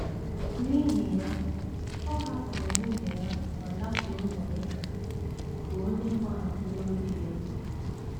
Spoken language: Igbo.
* N’ihi ya, ọ hapụrụ nwunye ya ma lakwuru Monika, bụ́ onye gbahapụworo di ya.